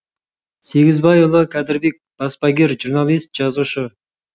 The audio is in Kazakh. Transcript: сегізбайұлы кәдірбек баспагер журналист жазушы